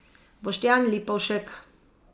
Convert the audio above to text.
Boštjan Lipovšek.